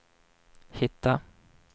hitta